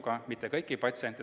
Seega ei hinnatud kõiki patsiente.